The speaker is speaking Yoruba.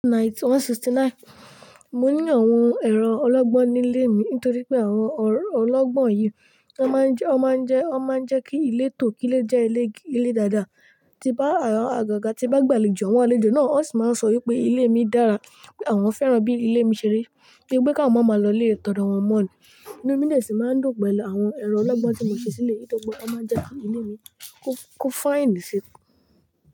1969. Mo ní àwọn ẹ̀rọ ọlọ́gbọ́n nílé mi nítorí pé àwọn ọlọ́gbọ́n yìí, wọ́n máa ń jẹ́, wọ́n máa ń jẹ́, wọ́n máa ń jẹ́ kí ilé tò kí ó jẹ́ ilé dáadáa. Ti bá àgaga ti bá gba alejo, àwọn àlejò náà ó sì máa ń sọ wípé ilé mi dára. Pé àwọn fẹ́ràn bí ilé mi ṣe rí. Bi pe ká awon ma máa lọ ilé tọ̀ọ̀dọ̀ wọn mọ̀ nì. Inu mi dè sì máa ń dùn pẹ̀lú àwọn ẹ̀rọ ọlọ́gbọ́n tí mo ṣe sílé nítorí pé wọ́n má ń jẹ́ kí ilé mi kúfàìǹdì sí i.